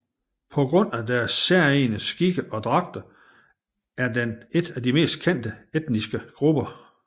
På grund af deres særegne skikke og dragter er den et af de mest kendte etniske grupper